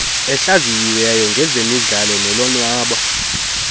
ehlaziyiweyo ngezemidlalo nolonwabo